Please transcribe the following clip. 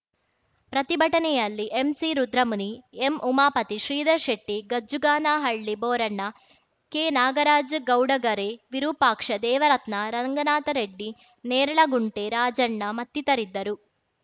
ಪ್ರತಿಭಟನೆಯಲ್ಲಿ ಎಂಸಿರುದ್ರಮುನಿ ಎಂಉಮಾಪತಿ ಶ್ರೀಧರ್ ಶೆಟ್ಟಿ ಗಜ್ಜುಗಾನಹಳ್ಳಿ ಬೋರಣ್ಣ ಕೆನಾಗರಾಜ್‌ ಗೌಡಗರೆ ವಿರುಪಾಕ್ಷ ದೇವರತ್ನ ರಂಗನಾಥರೆಡ್ಡಿ ನೇರಲಗುಂಟೆ ರಾಜಣ್ಣ ಮತ್ತಿತರಿದ್ದರು